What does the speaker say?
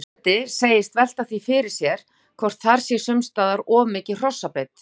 Forseti segist velta því fyrir sér hvort þar sé sums staðar of mikil hrossabeit.